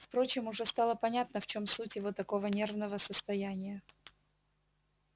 впрочем уже стало понятно в чём суть его такого нервного состояния